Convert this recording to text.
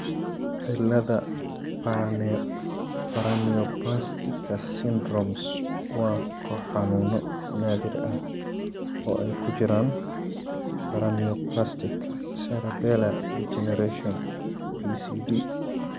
Cilada Paraneoplastika syndromes waa koox xanuuno naadir ah oo ay ku jiraan paraneoplastic cerebellar degeneration (PCD).